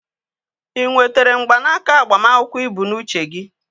Ị nwetere mgbanaka agbamakwụkwọ ị bụ n'uche gị?